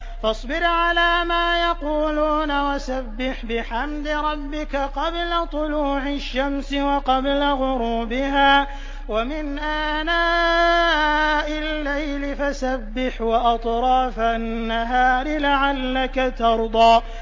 فَاصْبِرْ عَلَىٰ مَا يَقُولُونَ وَسَبِّحْ بِحَمْدِ رَبِّكَ قَبْلَ طُلُوعِ الشَّمْسِ وَقَبْلَ غُرُوبِهَا ۖ وَمِنْ آنَاءِ اللَّيْلِ فَسَبِّحْ وَأَطْرَافَ النَّهَارِ لَعَلَّكَ تَرْضَىٰ